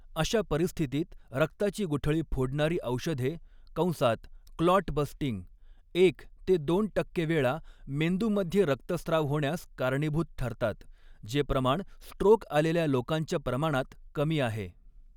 अशा परिस्थितीत रक्ताची गुठळी फोडणारी औषधे कंसात क्लॉट बस्टिंग एक ते दोन टक्के वेळा मेंदूमध्ये रक्तस्त्राव होण्यास कारणीभूत ठरतात, जे प्रमाण स्ट्रोक आलेल्या लोकांच्या प्रमाणात कमी आहे.